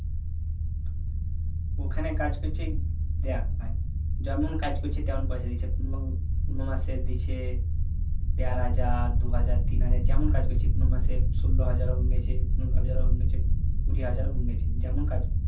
ওখানে কাজ করছি দেখ ভাই যেমন কাজ করছি তেমন পয়সা দিচ্ছে কোনো কোনো মাসে দিচ্ছে দেড় হাজার দু হাজার তিন হাজার যেমন কাজ করছি কোনো মাসে ষোলো হাজারও গিয়েছে পুনোরো হাজারও হয়ে যাচ্ছে কুড়ি হাজারও হয়ে যেছে যেমন কাজ